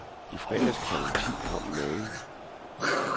I fredags klokken ti kom magen.